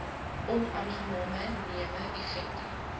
onaangename newe effekte